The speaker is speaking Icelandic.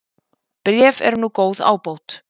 Bréf eru nú góð ábót